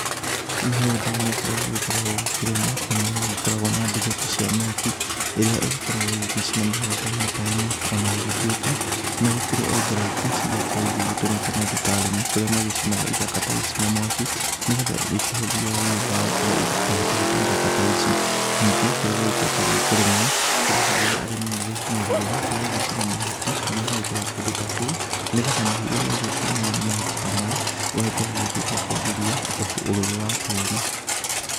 Mĩgũnda-inĩ kũrĩa gũgĩkoragwo gũkĩrĩmwo rĩmwe nĩ gũkoragwo na nduthũki cia mĩaki ĩrĩa ikoragwo igĩgĩcina mĩgũnda-inĩ ta ĩno. Ona gũgĩtuĩka nĩ kũrĩ njĩra ingĩ cigĩkoragwo igĩgĩtũmĩka nĩ andũ ta arĩmi kũrĩa magĩcinaga ithaka ta ici na mwaki. Nĩ getha ikĩhũthie wĩra wa gũkorwo magĩtũguta ithaka ta ici. Nĩngĩ kũrĩa gũgĩkoretwo gũkĩrĩmwo kũrĩ rĩrĩa arimi magĩkinyagĩrĩra magagĩcina mahuti marĩa magĩkoragwo kũndũ ta kũu, nĩ getha mũhu ũrĩa ũgũkiumana na mahuti ta maya ũgagĩkorwo ũgĩteithia kwagĩria ũrũrũ wa tĩri.